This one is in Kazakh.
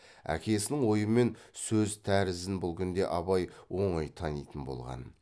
әкесінің ойымен сөз тәрізін бұл күнде абай оңай танитын болған